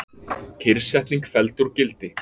Kyrrsetning felld úr gildi